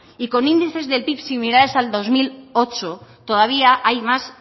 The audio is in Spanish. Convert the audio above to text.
y con índices del pib similares al dos mil ocho todavía hay más